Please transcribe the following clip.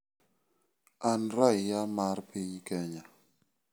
An raia mar piny Kenya.